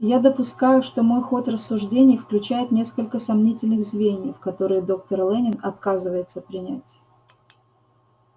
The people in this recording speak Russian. я допускаю что мой ход рассуждений включает несколько сомнительных звеньев которые доктор лэннинг отказывается принять